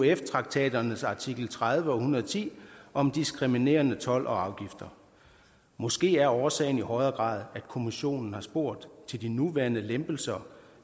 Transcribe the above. euf traktaternes artikel tredive og en hundrede og ti om diskriminerende told og afgifter måske er årsagen i højere grad at kommissionen har spurgt til de nuværende lempelser